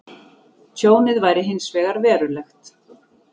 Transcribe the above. Tjónið væri hins vegar verulegt